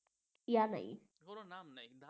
নাম নেই